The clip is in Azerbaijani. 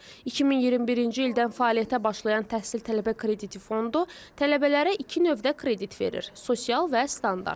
2021-ci ildən fəaliyyətə başlayan təhsil tələbə krediti fondu tələbələrə iki növdə kredit verir: sosial və standart.